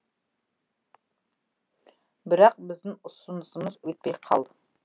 бірақ біздің ұсынысымыз өтпей қалды